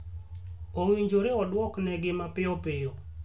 Owinjore iduoknegi mapiyo piyo.